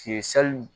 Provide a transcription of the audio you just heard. sali